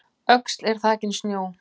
Öxl er þakin snjó